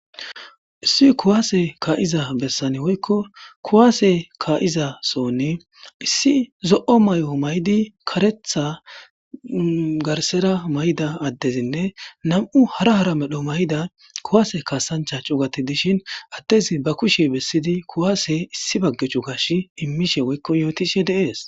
Issi kuwasse ka'iza besaani woykko kuwasse ka'iza sohoni issi zo'o mayo mayidi karetha garsera mayida addezinne nam'u hara hara medho mayida kuwasse kasaancha cugati dishin addezi ba kushe besiidi kuwasse issi baga cugas imiishe woykko yootishe de'es.